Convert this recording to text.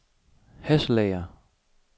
Hasselager